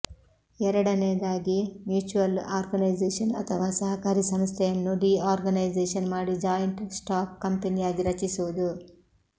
ಎರಡನೆಯದಾಗಿ mutual organisation ಅಥವಾ ಸಹಕಾರಿ ಸಂಸ್ಥೆಯನ್ನು ಡಿಆರ್ಗನೈಸೇಶನ್ ಮಾಡಿ ಜಾಯಿಂಟ್ ಸ್ಟಾಕ್ ಕಂಪನಿಯಾಗಿ ರಚಿಸುವುದು